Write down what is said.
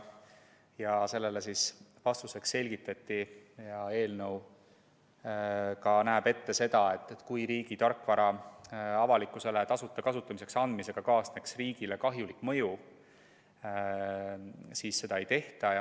Ja sellele vastuseks selgitati, et eelnõu näeb ette seda, et kui riigi tarkvara avalikkusele tasuta kasutamiseks andmine avaldab riigile kahjulik mõju, siis seda ei tehta.